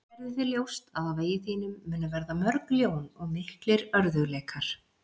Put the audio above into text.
Gerðu þér ljóst að á vegi þínum munu verða mörg ljón og miklir örðugleikar.